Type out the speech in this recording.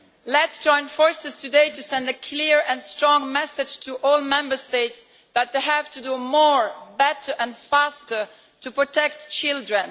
Let us join forces today to send a clear and strong message to all Member States that they have to do more better and faster to protect children.